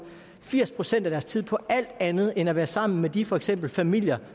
firs procent af deres tid på alt andet end at være sammen med de for eksempel familier